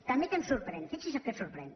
també què em sorprèn fixi’s el que em sorprèn